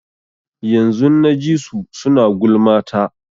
Yanzun na ji su suna gulma ta.